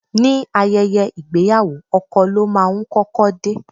Ní ayẹyẹ ìgbéyàwó, ọkọ ló máa ń kọ́kọ́ dé.